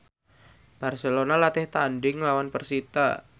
Barcelona latih tandhing nglawan persita